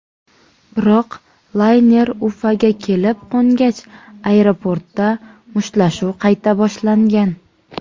Biroq layner Ufaga kelib qo‘ngach, aeroportda mushtlashuv qayta boshlangan.